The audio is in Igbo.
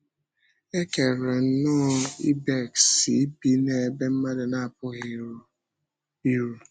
E kere nnọọ ìbèks ibi n’ebe mmadụ na-apụghị iru.